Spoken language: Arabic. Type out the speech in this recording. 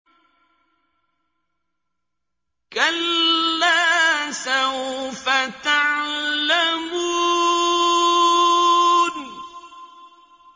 كَلَّا سَوْفَ تَعْلَمُونَ